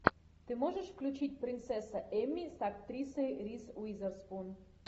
ты можешь включить принцесса эмми с актрисой риз уизерспун